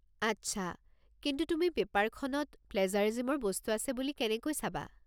আচ্ছা! কিন্তু তুমি পেপাৰখনত প্লেজাৰিজিমৰ বস্তু আছে বুলি কেনেকৈ চাবা?